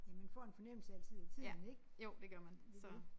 Ja man får en fornemmelse altid af tiden ik det det